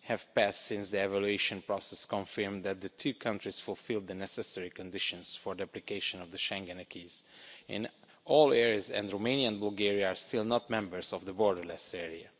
have passed since the evaluation process confirmed that the two countries fulfilled the necessary conditions for the application of the Schengen acquis in all areas, and Romania and Bulgaria are still not members of the borderless area.